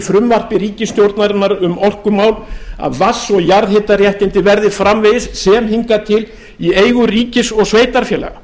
frumvarpi ríkisstjórnarinnar um orkumál að vatns og jarðhitaréttindi verði framvegis sem hingað til í eigu ríkis og sveitarfélaga